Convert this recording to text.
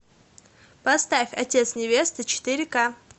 поставь отец невесты четыре ка